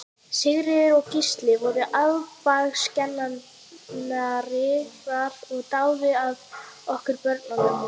Sigríður og Gísli voru afbragðskennarar og dáð af okkur börnunum.